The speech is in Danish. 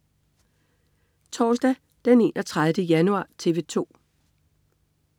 Torsdag den 31. januar - TV 2: